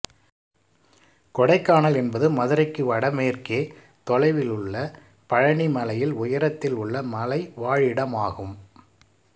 கொடைக்கானல் என்பது மதுரைக்கு வடமேற்கே தொலைவில் உள்ள பழனி மலையில் உயரத்தில் உள்ள மலை வாழிடமாகும்